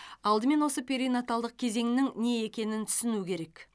алдымен осы перинаталдық кезеңнің не екенін түсіну керек